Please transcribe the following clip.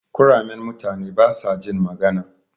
Kuramen mutane basajin magana.